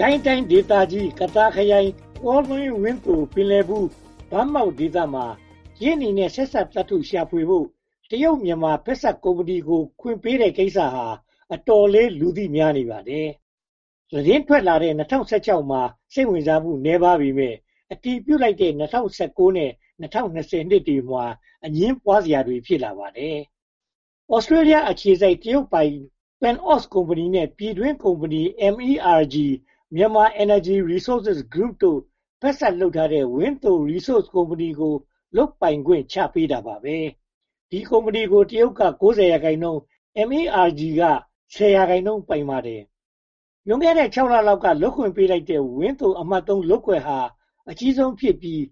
ကိုင်းတိုင်းဒေသကြီး ကသာခရိုင် ကောလင်းဝန်းသို၊ ပင်လည်ဘူး၊ ဗန်းမောက်ဒေသမှာ ကြေးနီနဲ့ ဆက်စပ်သတ္တု ရှာဖွေဖို့ တရုတ်-မြန်မာ ဖက်စပ်ကုမ္ပဏီကို လုပ်ခွင့်ပေးတဲ့ကိစ္စဟာ အတော်လေး လူသိများနေပါတယ်။ သတင်းထွက်လာတဲ့ ၂၀၁၆ မှာ စိတ်ဝင်စားမှု နည်းပါးပေမယ့် အတည်ပြုလိုက်တဲ့ ၂၀၁၉ နဲ့ ၂၀၂၀ နှစ်တွေမှာ အငြင်းပွားစရာ ဖြစ်လာပါတယ်။ Australia အခြေစိုက် တရုတ်ပိုင် PanAust ကုမ္ပဏီနဲ့ ပြည်တွင်းကုမ္ပဏီ MERG--Myanmar Energy Resources Group တို့ ဖက်စပ်လုပ်ထားတဲ့ ဝန်းသိုရီဆိုစ် ကုမ္ပဏီတို့ကို လုပ်ပိုင်ခွင့် ချပေးတာပါပဲ။ ဒီကုမ္ပဏီကို တရုတ်က (၉၀)% MEGR က (၁၀)% ပိုင်ပါတယ်။ လွန်ခဲ့တဲ့ (၆) လလောက်က လုပ်ခွင့်ပေးထားတဲ့ ဝန်းသိုအမှတ် (၃) လုပ်ကွက်ဟာ အကြီးဆုံးဖြစ်ပြီး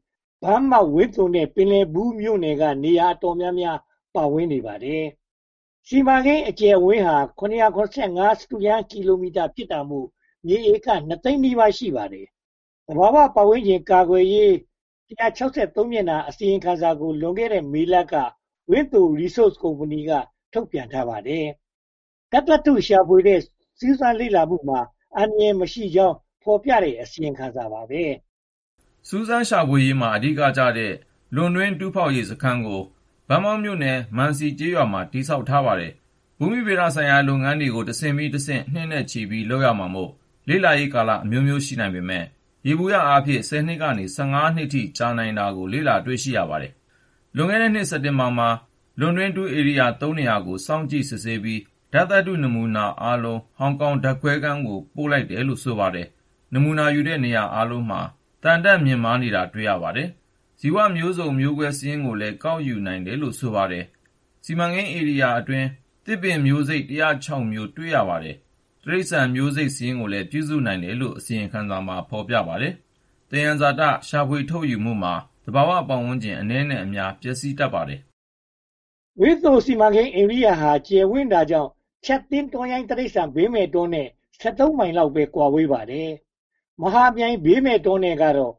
ဗန်းမောက်၊ ဝန်းသိုနဲ့ ပင်းလည်ဘူးမြို့နယ်က နေရာအတော်များများ ပါဝင်နေပါတယ်။ စီမံကိန်းအကျယ်အဝန်းဟာ ၇၇၅ စတုရမ်းမီတာ ဖြစ်တာမို့ မြေဧက (၂) သိန်းနီးပါး ရှိပါတယ်။ သဘာဝပတ်ဝန်းကျင် ကာကွယ်ရေး (၁၆၃) မျက်နှာ အစီရင်ခံစာကို လွန်ခဲ့တဲ့ မေလက ဝန်းသိုရီဆို့စ်ကုမ္ပဏီက ထုတ်ပြန်ထားပါတယ်။ ဓါတ်သတ္တု ရှာဖွေတဲ့ စူးစမ်းလေ့လာမှုမှာ အန္တရာယ်မရှိကြောင်း ဖော်ပြတဲ့ အစီရင်ခံစာ ဖြစ်ပါတယ်။ စူးစမ်းရှာဖွေရေးမှာ အဓိကကျတဲ့ လွန်တွင်း တူးဖော်ရေးစခန်းကို ဗန်းမောက်မြို့နယ် မံစီကျေးရွာမှာ တည်ဆောက်ထားပါတယ်။ ဘူမီဗေဒဆိုင်ရာ လုပ်ငန်းတွေကို တဆင့်ပြီးတဆင့် နှစ်နဲ့ချီပြီး လုပ်ရမှာမို့ လေ့လာရေးကာလအမျိုးမျိုး ရှိနိုင်ပေမယ့် ယေဘုယျအားဖြင့် (၁၀) နှစ်ကနေ (၁၅) နှစ်အထိ ကြာလေ့ရှိတယ်လို့ ဆိုပါတယ်။ လွန်ခဲ့တဲ့နှစ် စက်တင်ဘာလမှာ လွန်တွင်းတူးဧရီယာ (၃) နေရာကို စောင့်ကြည့်စစ်ဆေးပြီး ဓါတ်သတ္တုနမူနာအားလုံး ဟောင်ကောင်ဓါတ်ခွဲခန်းကို ပို့လိုက်တယ်လို့ ဆိုပါတယ်။ နမူနာယူတဲ့ နေရာအားလုံးမှာ သံဓါတ်မြင့်မားတာ တွေ့ရပါတယ်။ ဇီဝမျိုးစုံမျိုးကွဲစာရင်းကိုလည်း ကောက်ယူနိုင်တယ်လို့ ဆိုပါတယ်။ စိမံကိန်းဧရိယာအတွင်း သစ်မင်မျိုးစိတ် (၁၀၆) မျိုး တွေ့ရပါတယ်။ တိရိစ္ဆာန်မျိုးစိတ် စာရင်းကိုလည်း ပြုစုနိုင်တယ်လို့ အစီရင်ခံစာမှာ ဖော်ပြထားပါတယ်။ သယံဇာတ ရှာဖွေထုတ်ယူမှုဟာ သဘာဝပတ်ဝန်းကျင် အနည်းနဲ့အများ ပျက်စီးတတ်ပါတယ်။ ဝန်းသိုစီမံကိန်းဧရိယာဟာ ကျယ်ဝန်းတာကြောင့် ချပ်သင်းတောရိုင်းတိရိစ္ဆာန် ဘေးမဲ့တောနဲ့ (၁၃) မိုင်လောက်ပဲ ကွာဝေးပါတယ်။ မဟာမြိုင် ဘေးမဲ့တောနဲ့ကတော့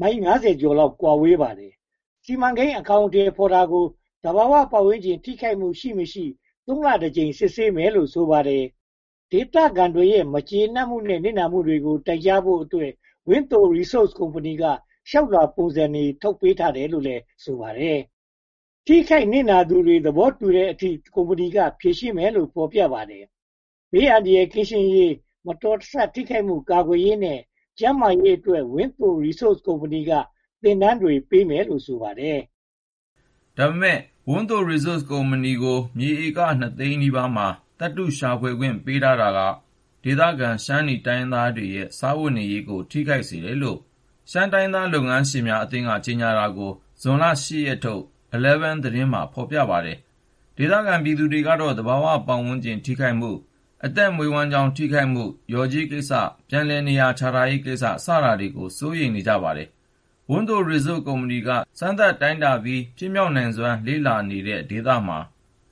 မိုင် (၅၀) ကျော် ကွာဝေးပါတယ်။ စီမံကိန်းအကောင်အထည် ဖော်တာကို သဘာဝပတ်ဝန်းကျင် ထိခိုက်မှု ရှိမရှိ သုံးလတကြိမ် စစ်ဆေးမယ်လို့ ဆိုပါတယ်။ ဒေသခံတွေရဲ့ မကျေနပ်မှုနဲ့ နစ်နာမှုတွေကိုလည်း တိုင်ကြားဖို့အတွက် ဝန်းသိုရီဆို့စ် ကုမ္ပဏီက လျှောက်လွှာပုံစံတွေ ထုတ်ပေးတယ်လို့လည်း ဆိုပါတယ်။ ထိခိုက်နစ်နာသူတွေ သဘောတူတဲ့အထိ ကုမ္ပဏီက ဖြေရှင်းပေးမယ်လို့ ဖော်ပြပါတယ်။ ဘေးအန္တရာယ် ကင်းရှင်းရေး၊ မတော်မဆ ထိခိုက်မှုကာကွယ်ရေးနဲ့ ကျန်းမာရေးအတွက် ဝန်းသိုရီဆို့စ်ကုမ္ပဏီက သင်တန်းတွေ ပေးမယ်လို့ ဆိုပါတယ်။ ဒါပေမဲ့ ဝန်းသိုရီဆို့စ်ကုမ္ပဏီကို မြေဧက (၂) သိန်းနီးပါးမှာ သတ္တုရှာဖွေခွင့်ပေးထားတာဟာ ဒေသခံ ရှမ်းနီတိုင်းရင်းသားတွေရဲ့ စားဝတ်နေရေးကို ထိခိုက်စေတယ်လို့ ရှမ်းတိုင်းရင်းသား လုပ်ငန်းရှင်များအသင်းက ကြေညာတာကို ဇွန်လ (၈) ရက်နေ့ထုတ်၊ Eleven သတင်းမှာ ဖော်ပြထားပါတယ်။ ဒေသခံပြည်သူတွေကတော့ သဘာဝပတ်ဝန်းကျင် ထိခိုက်မှု၊ အသက်မွေးဝမ်းကြောင်း ထိခိုက်မှု၊ လျော်ကြေးကိစ္စ၊ ပြန်လည်နေရာချထားရေးကိစ္စ စတာတွေကို စိုးရိမ်ပူပန်နေကြပါတယ်။ ဝန်းသိုရီဆို့စ်ကုမ္ပဏီက စမ်းသပ်တိုင်တာပြီး ဖြစ်မြောက်နိုင်စွမ်း လေ့လာနေတဲ့ဒေသမှာ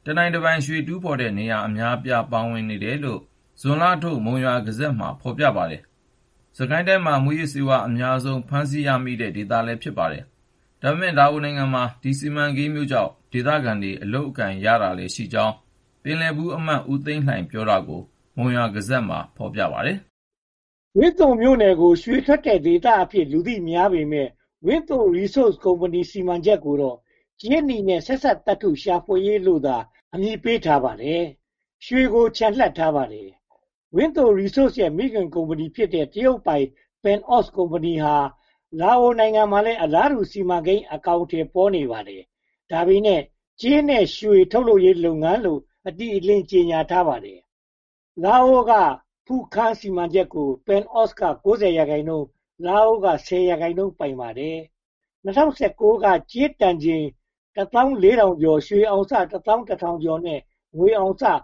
တနိုင်တပိုင် ရွှေတူးဖော်တဲ့ နေရာအများအပြား ပါဝင်နေတယ်လို့ ဇွန်လထုတ် မုံရွာဂဇတ်မှာ ဖော်ပြထားပါတယ်။ စစ်ကိုင်းတိုင်းမှာ မူးယစ်ဆေးဝါး အများဆုံး ဖမ်းဆီးရမိတဲ့ ဒေသလည်း ဖြစ်ပါတယ်။ ဒါပေမဲ့ လာအိုနိုင်ငံမှာ ဒီ စီမံကိန်းမျိုးကြောင့် ဒေသခံတွေ အလုပ်အကိုင်ရတာလည်းရှိကြောင်း ပင်လည်ဘူးအမတ် ဦးသန်းလှိုင် ပြောတာကို မုံရွာဂဇတ်မှာ ဖော်ပြပါတယ်။ ဝန်းသိုမြို့နယ်ကို ရွှေထွက်တဲ့ဒေသအဖြစ် လူသိများပေမယ့် ဝန်းသိုရီဆို့စ်ကုမ္ပဏီ စီမံချက်ကိုတော့ ကြေးနီနဲ့ ဆက်စပ်သတ္တု ရှာဖွေရေးလို့သာ အမည်ပေးထားပါတယ်။ ရွှေကိုချန်လှပ်ထားပါတယ်။ ဝန်းသိုရီဆို့စ်ရဲ့ မိခင်ကုမ္ပဏီဖြစ်တဲ့ တရုတ်ပိုင် PanAust ကုမ္ပဏီဟာ လာအိုနိုင်ငံမှာလည်း အလားတူစီမံကိန်း အကောင်အထည် ဖော်နေပါတယ်။ ဒါပေမဲ့ ကြေးနီနဲ့ ရွှေထုတ်လုပ်ရေးလုပ်ငန်းလို့ အတိအလင်း ကြေညာထားပါတယ်။ လာအိုကဖုခန်း (Phu Kham) စီမံချက်ကို PanAust က (၉၀)% လာအိုက (၁၀)% ပိုင်ပါတယ်။ ၂၀၁၉ က ကြေးတန်ချိန် (၁၄၄၅၇) ရွှေအောင်စ (၁၁၇၈၇) နဲ့ ငွေအောင်စ (၇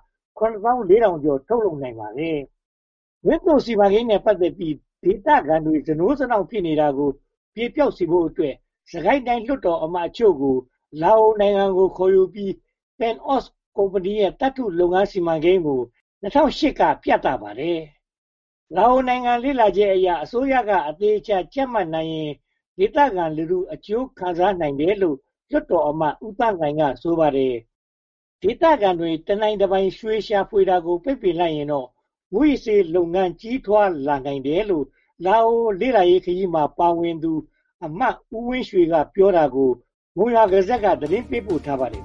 ၄၆၀၇) ထုတ်လုပ်နိုင်ပါတယ်။ ဝန်းသိုစီမံကိန်းနဲ့ ပတ်သက်ပြီး ဒေသခံတွေ စနိုးစနောင့် ဖြစ်နေတာကို ပြေပျောက်စေဖို့အတွက် စစ်ကိုင်းတိုင်း လွှတ်တော်အမတ်အချို့ကို လာအိုနိုင်ငံသို့ ခေါ်ယူပြီး PanAust ကုမ္ပဏီရဲ့ သတ္တုထုတ်လုပ်ရေးစီမံကိန်းကို ၂၀၁၈ က ပြသပါတယ်။ လာအိုနိုင်ငံ လေ့လာချက်အရ အစိုးရက အသေအချာ ကြပ်မတ်နိုင်ရင် ဒေသခံလူထု အကျိုးခံစားနိုင်တယ်လို့ လွှတ်တော်အမတ် ဦးသန်းလှိုင်က ဆိုပါတယ်။ ဒေသခံတွေ တနိုင်တပိုင် ရွှေရှာဖွေတာကို ပိတ်လိုက်ရင်တော့ မူးယစ်ဆေးလုပ်ငန်း ကြီးထွားလာနိုင်တယ်လို့ လာအိုလေ့လာရေးခရီးသွားခဲ့သူ အမတ်ဦးဝင်းရွှေ ပြောတာကိ မုံရွာဂဇတ်က သတင်းပေးပို့ထားပါတယ်